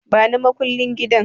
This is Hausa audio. Bani makullin gidan